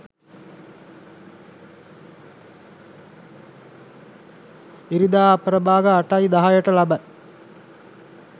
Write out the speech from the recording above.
ඉරිදා අපරභාග 8.10 ට ලබයි.